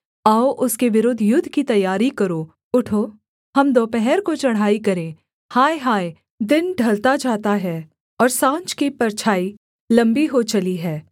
आओ उसके विरुद्ध युद्ध की तैयारी करो उठो हम दोपहर को चढ़ाई करें हाय हाय दिन ढलता जाता है और साँझ की परछाई लम्बी हो चली है